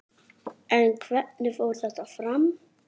En hvernig fór þetta fram?